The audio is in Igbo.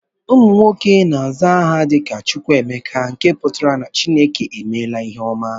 Ụmụ nwoke na-aza aha dị ka "Chukwuemeka" nke pụtara na Chineke emela ihe ọma